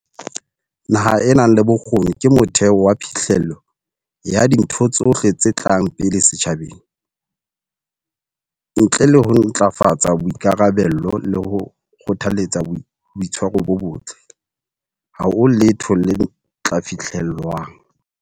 Naha e nang le bokgoni ke motheo wa phihlello ya dintho tsohle tse tlang pele setjhabeng. Ntle le ho ntlafatsa boikarabello le ho kgothaletsa boitshwaro bo botle, ha ho letho le tla fihlellwang.